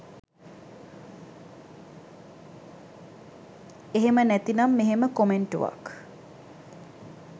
එහෙම නැතිනම් මෙහෙම කොමෙන්ටුවක්